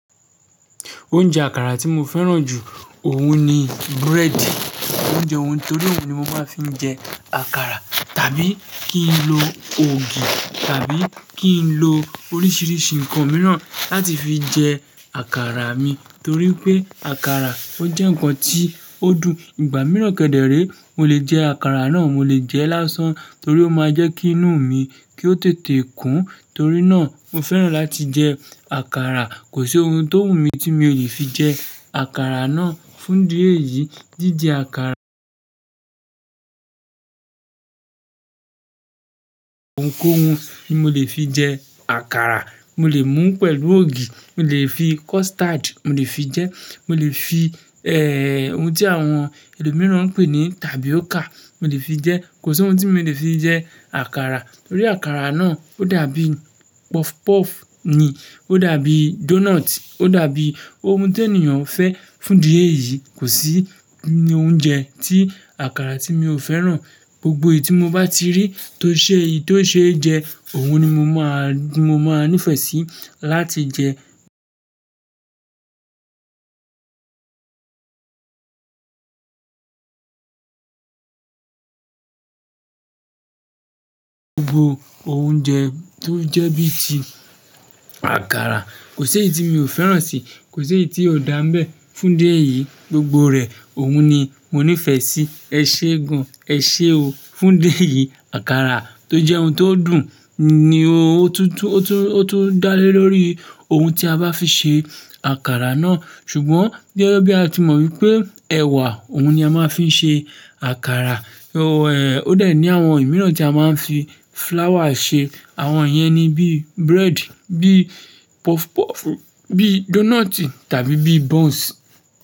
Oúnjẹ àkàrà tí mo fẹ́ràn jù òun ni búrẹ́dì, oúnjẹ òhun torí òhun ni mo máa fi ń jẹ àkàrà tàbí kí n lo ògì tàbí kí n lo oríṣìíríṣìí ǹkan mìíràn láti fi jẹ àkàrà mi torí pé àkàrà ó jẹ́ ǹkan tí ó dùn. Ìgbà mìíràn kẹ̀ dẹ̀ ré mo lè jẹ àkàrà náà, mo lè jẹ lásán torí ó máa jẹ́ kí inú mi kí ó tètè kún torí náà mo fẹ́ràn láti jẹ àkàrà. Kò sí ohun tó wù mí tí mi ò lè fi jẹ àkàrà náà fún idi eyìí. Jíjẹ àkàrà ohunkóhun ni mo lè fi jẹ àkàrà. Mo lè mú pẹ̀lú ògì, mo lè fi custard mo lè fi jẹ, mo lè fi, ẹ, ohun tí àwọn ẹlòmíràn ń pè ní tapioca mo lè fi jẹ. Kò sí ohun tí mi ò lè fi jẹ àkàrà torí àkàrà náà ó dàbíi puff puff ni, ó dàbí doughnut, ó dàbí ohun ti ènìyàn fẹ́ fún idi eyìí. Kò sí oúnjẹ tí àkàrà tí mi ò fẹ́ràn. Gbogbo èyí tí mo bá ti rí tó ṣe èyí tó ṣe jẹ, òhun ni mo máa, mo máa nífẹ̀ẹ́ sí láti jẹ gbogbo oúnjẹ tó jẹ́ bí i ti àkàrà. Kò sí èyí tí mi ò fẹ́ràn sí. Kò sí èyí tí ò dá nbẹ́ fún idi eyìí. Gbogbo rẹ̀ òhun ni mo nífẹ̀ẹ́ sí. Ẹ ṣe gan, ẹ ṣe o fún idi eyìí. Àkàrà tó jẹ́ ohun tó dùn ni o. O tún, o tún, o tún dálé lórí ohun tí a bá fi ṣe àkàrà náà. Ṣùgbọ́n, gege bí a ti mọ̀ wípé ẹ̀wà òhun ni a máa fi ń ṣe àkàrà, o, ẹ, ó de ní àwọn ìmíràn tí a máa ń fi flour ṣe. Àwọn yen ni bíi búrẹ́dì, bíi puff puff, bíi doughnut tàbí bíi buns.